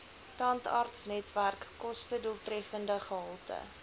tandartsnetwerk kostedoeltreffende gehalte